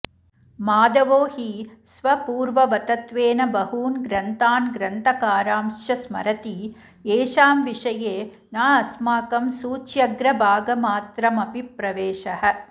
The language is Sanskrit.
माधवो हि स्वपूर्ववतत्वेन बहून् ग्रन्थान् ग्रन्थकारांश्च स्मरति येषां विषये नास्माकं सूच्यग्रभागमात्रमपि प्रवेशः